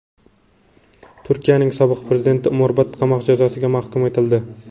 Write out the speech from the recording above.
Turkiyaning sobiq prezidenti umrbod qamoq jazosiga mahkum etildi.